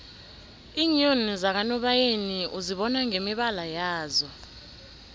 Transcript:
iinyoni zakanobayeni uzibona ngemibala yazo